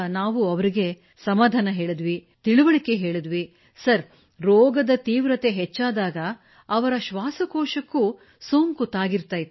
ನಾವು ಅವರಿಗೆ ಸಮಾಧಾನ ತಿಳಿವಳಿಕೆ ಹೇಳುತ್ತಿದ್ದೆವು ಮತ್ತು ಸರ್ ರೋಗದ ತೀವ್ರತೆ ಹೆಚ್ಚಾದಾಗ ಅವರ ಶ್ವಾಸಕೋಶಕ್ಕೂ ಸೋಂಕು ತಾಗಿರುತ್ತಿತ್ತು